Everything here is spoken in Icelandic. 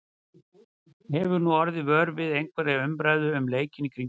Hefur hún orðið vör við einhverja umræðu um leikinn í kringum sig?